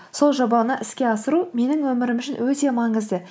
сол жобаны іске асыру менің өмірім үшін өте маңызды